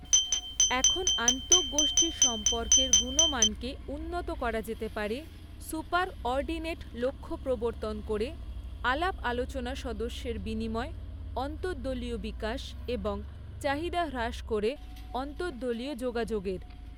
এখন আন্তঃগোষ্ঠী সম্পর্কের গুণমানকে উন্নত করা যেতে পারে সুপার অর্ডিনেট লক্ষ্য প্রবর্তন করে আলাপ আলোচনা সদস্যের বিনিময় অন্তঃদলীয় বিকাশ এবং চাহিদা হ্রাস করে অন্তঃদলীয় যোগাযোগের।